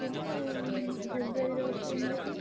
ଆସିବୁ February ରେ ଅଛି engagement ।